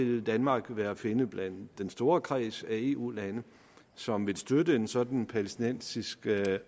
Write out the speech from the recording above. vil danmark være at finde blandt den store kreds af eu lande som vil støtte en sådan palæstinensisk